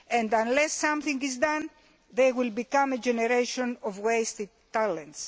Unless something is done they will become a generation of wasted talent.